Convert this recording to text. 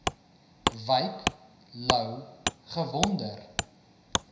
wyk louw gewonder